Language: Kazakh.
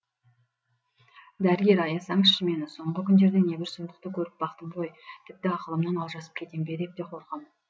дәрігер аясаңызшы мені соңғы күндерде небір сұмдықты көріп бақтым ғой тіпті ақылымнан алжасып кетем бе деп те қорқам